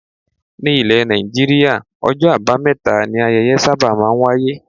Ní ile Nàìjíríà, ọjọ́ abameta ni ayẹyẹ máa ń sábà wáyé.